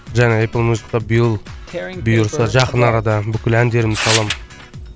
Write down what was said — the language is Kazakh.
жаңа эплмюзикқа биыл бұйырса жақын арада бүкіл әндерімді саламын